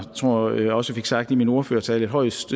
tror at jeg også fik sagt i min ordførertale højst